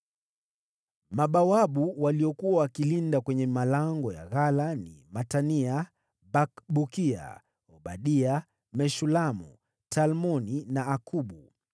Mabawabu waliokuwa wakilinda kwenye malango ya ghala ni: Matania, Bakbukia, Obadia, Meshulamu, Talmoni na Akubu.